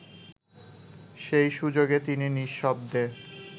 সেই সুযোগে তিনি নিঃশব্দে